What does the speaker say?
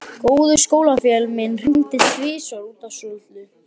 Góður skólafélagi minn hringdi tvisvar út af svolitlu.